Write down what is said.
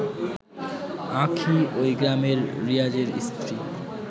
আঁখি ওই গ্রামের রিয়াজের স্ত্রী